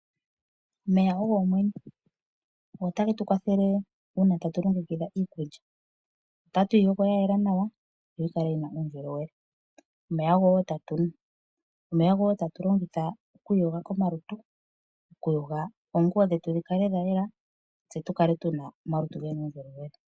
Omeya ogo omwenyo oha getu kwathele uuna tatu longekidha iikulya tatu yi yogo yayela nawa opo yikale yina uundjolowele. Omeya ogo woo tatunu, omeya ogo woo tatulongitha okwiiyoga komalutu, okuyoga oonguwo dhetu dhi kale dhayela tse tukale tuna omalutu gena uundjolowele.